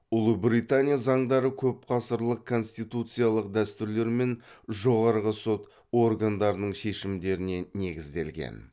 ұлыбритания заңдары көп ғасырлық конституциялық дәстүрлер мен жоғарғы сот органдарының шешімдеріне негізделген